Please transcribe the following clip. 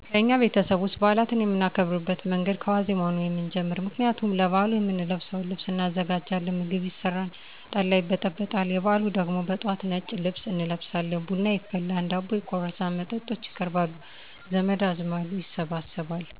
ከእኛ ቤተሰብ ውስጥ በአላትን የምናከብርበት መንገድ ከዋዜማው ነው የምንጀምር ምክንያቱም ለበአሉ የምንለብሰውን ልብስ እናዘጋጃለን ምግብ ይሰራል ጠላ ይበጠበጣል ...የበአሉ ደግሞ በጠዋት ነጭ ልብስ እንለብሳቸን ቡና ይፈላል ደቦ ይቆረሳል መጠጥች ይቀርባሉ ዘመድ አዝማዱ ይሰበሰባል።